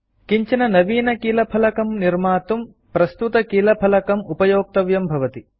किञ्चन नवीनकीलफलकं कीबोर्ड निर्मातुं प्रस्तुतकीलफलकम् कीबोर्ड उपयोक्तव्यं भवति